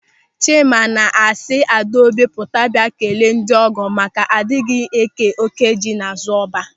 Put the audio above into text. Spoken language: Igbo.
Chima na-asị Adaobi pụta bịa kelee ndịọgọ maka a dịghị eke oké ji n'azụ ọba.